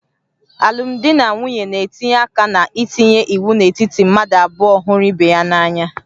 Alụmdi na nwunye na-etinye aka na ntinye iwu n'etiti mmadụ abụọ hụrụ ibe ha n'anya